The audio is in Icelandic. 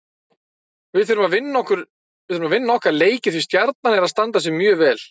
Við þurfum að vinna okkar leiki því Stjarnan er að standa sig mjög vel.